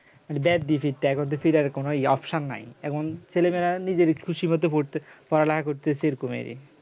মানে bad decesion এখন তো ফিরে আসার কোন নাই এখন ছেলে মেয়েরা নিজের খুশির মতো পড়তে পড়ালেখা করতেছে এরকম ই